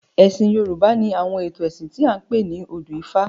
Ẹ̀sìn Yorùbá ni àwọn ètò ẹ̀sìn tí a ń pè ní odù ifá.